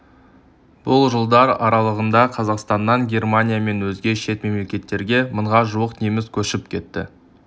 бұл жылдар аралығында қазақстаннан германия мен өзге шет мемлекеттерге мыңға жуық неміс көшіп кетті